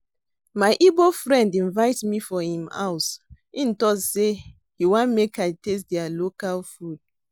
My Igbo friend invite me for im house unto say he want make I taste their local food